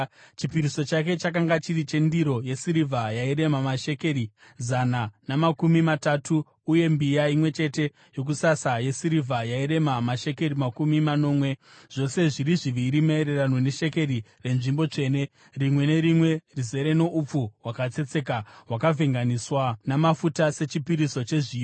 Chipiriso chake chakanga chiri chendiro yesirivha yairema mashekeri zana namakumi matatu , uye mbiya imwe chete yokusasa yesirivha yairema mashekeri makumi manomwe , zvose zviri zviviri maererano neshekeri renzvimbo tsvene, rimwe nerimwe rizere noupfu hwakatsetseka hwakavhenganiswa namafuta sechipiriso chezviyo;